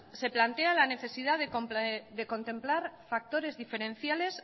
se plantea la necesidad de contemplar factores diferenciales